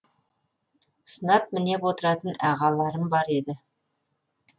сынап мінеп отыратын ағаларым бар еді